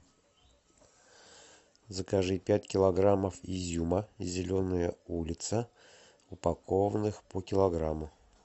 закажи пять килограммов изюма зеленая улица упакованных по килограмму